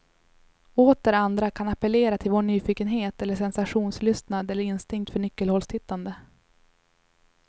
Åter andra kan appellera till vår nyfikenhet eller sensationslystnad eller instinkt för nyckelhålstittande.